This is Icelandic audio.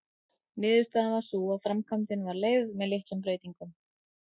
Niðurstaðan varð sú að framkvæmdin var leyfð með litlum breytingum.